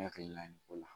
N hakili la nin ko la